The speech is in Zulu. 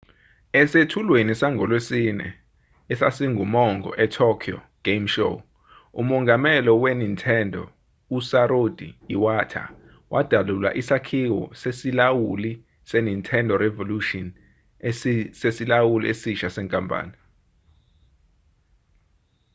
esethulwenisangolwesine esasingumongo se-tokyo game show umongameli we-nintendo u-satoru iwata wadalula isakhiwo sesilawuli se-nintendo revolution sesilawuli esisha senkampani